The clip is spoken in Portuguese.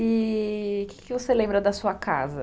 E o que você lembra da sua casa?